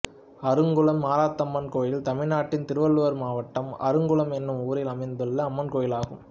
அருங்குளம் மார்த்தம்மன் கோயில் தமிழ்நாட்டில் திருவள்ளூர் மாவட்டம் அருங்குளம் என்னும் ஊரில் அமைந்துள்ள அம்மன் கோயிலாகும்